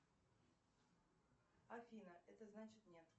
афина это значит нет